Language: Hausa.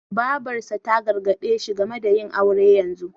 Babarsa ta gargaɗe shi game da yin aure yanzu.